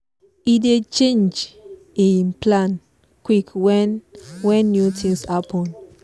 he dey change e plan quick when when new things happen